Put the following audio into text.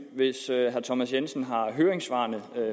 hvis herre thomas jensen har høringssvarene